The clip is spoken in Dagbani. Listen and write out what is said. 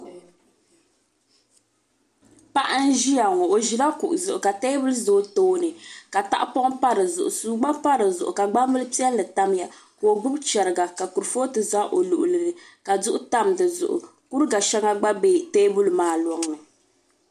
Paɣa n ʒiya ŋo o ʒila kuɣu zuɣu ka teebuli ʒɛ o tooni ka tahapoŋ pa dizuɣu suu gba pa dizuɣu ka gbambili piɛlli tamya ka o gbubi chɛriga ka kurifooti ʒɛ o luɣuli ni ka duɣu tam dizuɣu kuriga shɛŋa gba bɛ teebuli maa loŋni